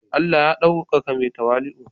Allah ya daukaka mai tawali'u.